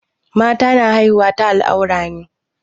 Mata na haihuwa ta al'aurar ne.